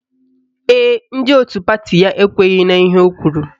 Ee, ndị otu pati ya ekweghi n'ihe o kwuru